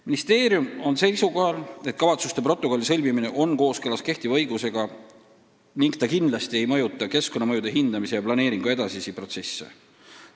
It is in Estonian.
Ministeerium on seisukohal, et kavatsuste protokolli sõlmimine on kooskõlas kehtiva õigusega ega mõjuta kindlasti keskkonnamõjude hindamise ja planeeringu edasist protsessi.